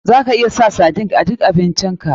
Za ka iya sa sardines a duk abincin ka.